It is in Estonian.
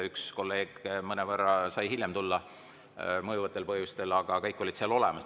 Üks kolleeg sai mõjuvatel põhjustel tulla alles mõnevõrra hiljem, aga kõik olid seal olemas.